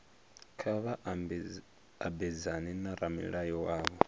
kha vha mabedzane na ramulayo wavho